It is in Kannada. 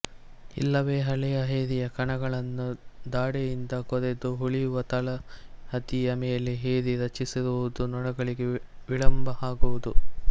ಇಲ್ಲವೇ ಹಳೆಯ ಏರಿಯ ಕಣಗಳನ್ನು ದಾಡೆಯಿಂದ ಕೊರೆದು ಉಳಿಯುವ ತಳಹದಿಯ ಮೇಲೆ ಏರಿ ರಚಿಸಿರುವುದು ನೊಣಗಳಿಗೆ ವಿಳಂಬ ಆಗುವುದು